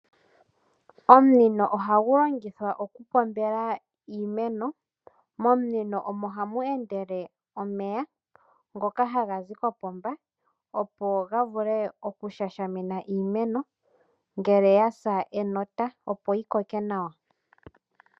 Omunino ohagu longithwa okupombela iimeno .Momunino omo hamu endele omeya ngoka haga zi kopomba opo ga vule okushashamina iimeno ngele ya sa enota opo yi koke nawa.